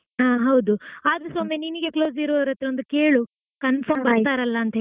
ಹಾ ಹೌದು ಆದ್ರೂಸ ಒಮ್ಮೆ ನಿನಿಗೆ close ಇರುವವರ ಹತ್ರ ಒಂದ್ ಕೇಳು confirm ಬರ್ತರಲ್ಲಾ ಅಂತ ಹೇಳಿ.